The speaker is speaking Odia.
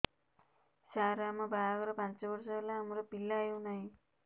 ସାର ଆମ ବାହା ଘର ପାଞ୍ଚ ବର୍ଷ ହେଲା ଆମର ପିଲା ହେଉନାହିଁ